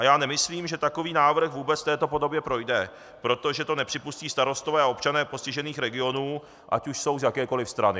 A já nemyslím, že takový návrh vůbec v této podobě projde, protože to nepřipustí starostové a občané postižených regionů, ať už jsou z jakékoliv strany.